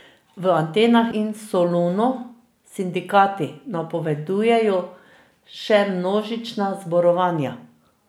V Atenah in Solunu sindikati napovedujejo še množična zborovanja.